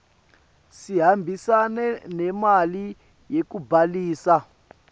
sihambisane nemali yekubhalisa